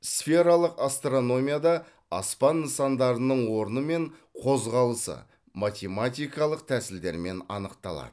сфералық астрономияда аспан нысандарының орны мен қозғалысы математикалық тәсілдермен анықталады